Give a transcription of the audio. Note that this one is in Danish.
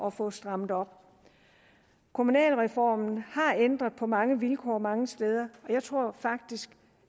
at få strammet op kommunalreformen har ændret på mange vilkår mange steder jeg tror faktisk